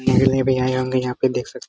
मेरे लिए भी आए होंगे यहां पे देख सक --